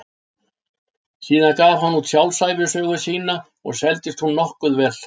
Síðan gaf hann út sjálfsævisöguna sína og seldist hún nokkuð vel.